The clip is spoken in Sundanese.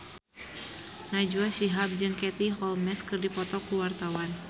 Najwa Shihab jeung Katie Holmes keur dipoto ku wartawan